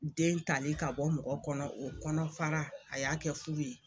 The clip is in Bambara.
Den tali ka bɔ mɔgɔ kɔnɔ o kɔnɔfara a y'a kɛ fu ye.